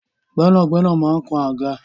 Gbẹnagbẹna man kán agá.